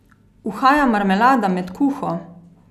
Uhaja marmelada med kuho?